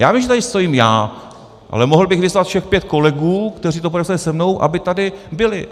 Já vím, že tady stojím já, ale mohl bych vyzvat všech pět kolegů, kteří to podepsali se mnou, aby tady byli.